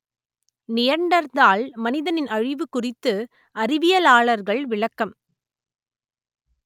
Neanderthal மனிதனின் அழிவு குறித்து அறிவியலாளர்கள் விளக்கம்